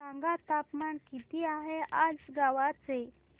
सांगा तापमान किती आहे आज गोवा चे